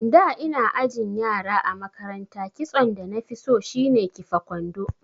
Da ina ajin yara a makaranta kitson danafi so shine kifa kwando